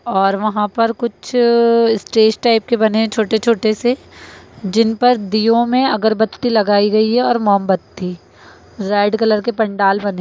और वहाँ पर कुछ स्टेज टाइप के बने है छोटे-छोटे से जिन पर दियों में अगरबत्ती लगाई गई है और मोमबत्ती रेड कलर के पंडाल बने --